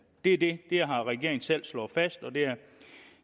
det det har regeringen selv slået fast og